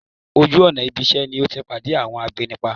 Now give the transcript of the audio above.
Ojú ọ̀nà ibisẹ́ ni o ti pade awọn agbénipa